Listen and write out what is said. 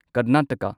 Karnataka